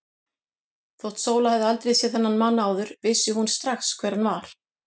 Þótt Sóla hefði aldrei séð þennan mann áður vissi hún strax hver hann var.